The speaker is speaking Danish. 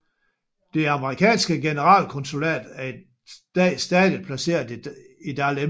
Det amerikanske generalkonsulat er i dag stadig placeret i Dahlem